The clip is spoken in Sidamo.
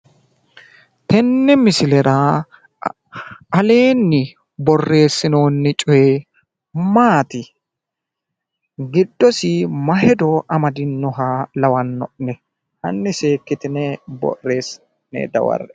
Tenne misilera aleenni borreessinoonni coy maati? giddosi ma hedo amadinnoha lawanno'ne? Hanni ssekkitine borreessitine dawarre"e